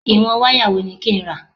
Ìwọ̀n wáyà wo ni kí n rà?